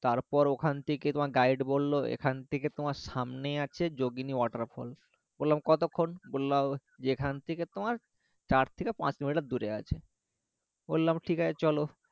তারপর ওখান থেকে তোমার guide বললো এখান থেকে তোমার সামনেই আছে যোগিনী waterfall বললাম কতক্ষন বললো যে এখান থেকে তোমার চার থেকে পাঁচ কিলোমিটার দূরে আছে বললাম ঠিক আছে চলো